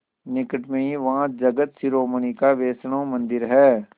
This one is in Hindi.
निकट में ही वहाँ जगत शिरोमणि का वैष्णव मंदिर है